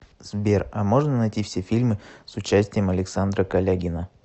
сбер а можно найти все фильмы с участием александра калягина